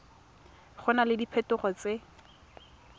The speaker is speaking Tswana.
go na le diphetogo tse